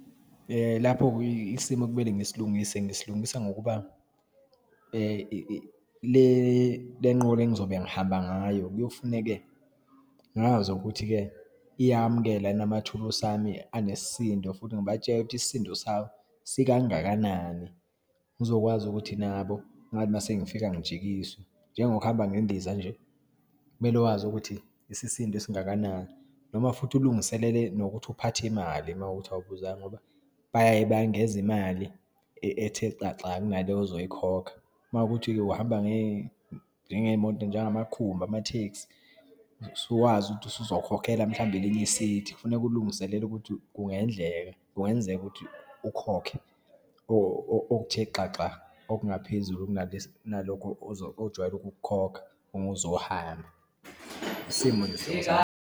Lapho-ke, isimo ekumele ngisilungise, ngisilungisa, ngokuba lenqola engizobe ngihamba ngayo, kuyofuneka ngazi ukuthi-ke uyamukela yini emathulusi ami anesindo futhi ngibatshele ukuthi isisindo sawo sikangakanani, ngizokwazi ukuthi nabo ngathi uma sengifika ngijikiswe. Njengokuhamba ngendiza nje, kumele wazi ukuthi isisindo esingakanani noma futhi ulungiselele nokuthi uphathe imali uma kuwukuthi awubuzanga ngoba bayaye bayengeza imali, ethe xaxa kunale ozoyikhokha. Uma kuwukuthi uhamba njengeyimoto, njengamakhumbi, amatekisi, usuwazi ukuthi usuzokhokhela, mhlawumbe elinye i-seat. Kufuneka ulungiselela ukuthi kungendleka, kungenzeka ukuthi ukhokhe okuthe xaxa okungaphezulu kunalokho ojwayele ukukhokha uma uzohamba, isimo nje .